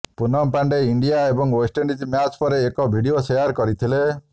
Punam Pandey India ଏବଂ West Indies match ପରେ ଏକ ଭିଡିଓ ସେୟାର କରିଥିଲେ